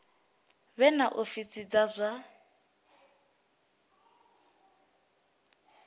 vhe na ofisi dza zwa